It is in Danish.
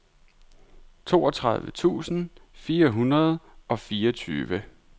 toogtredive tusind fire hundrede og fireogtyve